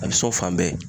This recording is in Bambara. A bɛ so fan bɛɛ